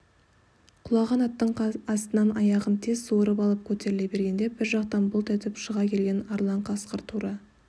құлаған аттың астынан аяғын тез суырып алып көтеріле бергенде бір жақтан бұлт етіп шыға келген арлан қасқыр тура